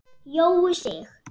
Jói Sig.